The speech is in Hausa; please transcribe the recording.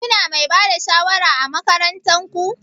Kuna Mai Bada shawara ã makarantan ku?